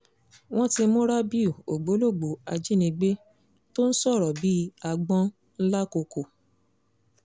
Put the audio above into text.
wọ́n ti mú rábìù ògbólógbòó ajínigbé tó ń sọ̀rọ̀ bíi àgbọ̀n làkòkò